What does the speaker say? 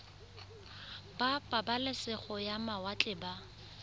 ba pabalesego ya mawatle ba